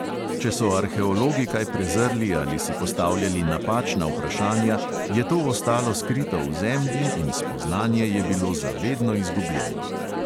Če so arheologi kaj prezrli ali si postavljali napačna vprašanja, je to ostalo skrito v zemlji in spoznanje je bilo za vedno izgubljeno.